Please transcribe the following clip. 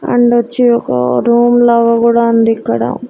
And వచ్చి ఒక room లాగా కూడా ఉంది ఇక్కడ.